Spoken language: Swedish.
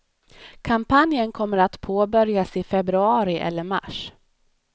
Kampanjen kommer att påbörjas i februari eller mars.